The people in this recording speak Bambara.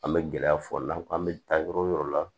An bɛ gɛlɛya fɔ n'an ko k'an bɛ taa yɔrɔ wo yɔrɔ la